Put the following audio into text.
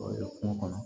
kungo kɔnɔ